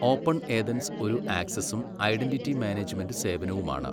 Open Athens ഒരു ആക്സസ്സും identity management സേവനവുമാണ്.